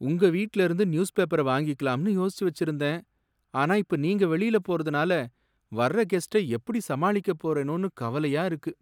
உங்க வீட்ல இருந்து நியூஸ் பேப்பர வாங்கிக்கலாம்னு யோசிச்சு வச்சிருந்தேன். ஆனா இப்ப நீங்க வெளியில போறதுனால வர்ற கெஸ்ட எப்படி சமாளிக்கப் போறேனோன்னு கவலையா இருக்கு.